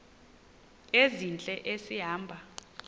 ezintle esi hamba